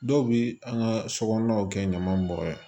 Dɔw bɛ an ka so kɔnɔnaw kɛ ɲaman bɔn ye